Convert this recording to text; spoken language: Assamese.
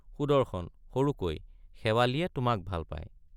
সুদৰ্শন— সৰুকৈ শেৱালিয়ে তোমাক ভাল পায়।